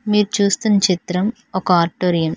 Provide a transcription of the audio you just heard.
మీరు చూస్తున్న చిత్రం ఒక అర్టోరియం .